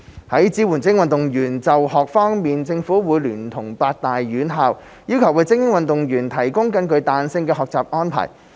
在支援精英運動員就學方面，政府會聯絡八大院校，要求為精英運動員提供更具彈性的學習安排。